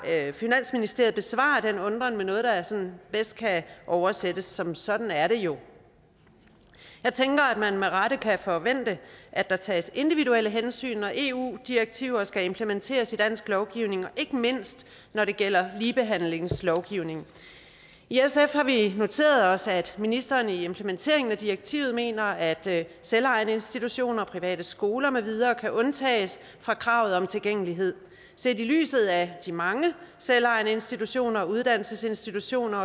at finansministeriet besvarer den undren med noget der sådan bedst kan oversættes som sådan er det jo jeg tænker at man med rette kan forvente at der tages individuelle hensyn når eu direktiver skal implementeres i dansk lovgivning og ikke mindst når det gælder ligebehandlingslovgivningen i sf har vi noteret os at ministeren i implementeringen af direktivet mener at selvejende institutioner private skoler med videre kan undtages fra kravet om tilgængelighed set i lyset af de mange selvejende institutioner uddannelsesinstitutioner